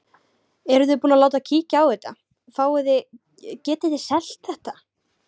Eruð þið búin að láta kíkja á þetta, fáið þið, getið þið selt þetta?